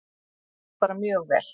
Sáust bara mjög vel.